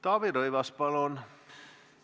Taavi Rõivas, palun!